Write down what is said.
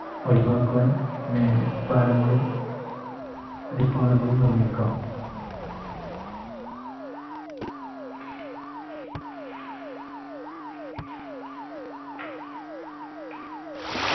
ഒഴിവാക്കാൻ മേൽപ്പാലങ്ങളും അടി പാതകളും നിർമ്മിക്കാം